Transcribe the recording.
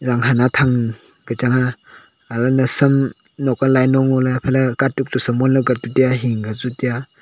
zanghan e athang ka chang a alah e nawsam nok e lai ano ngoley aphailey katuk tu semon lawka chu taiya hing ka chu taiya.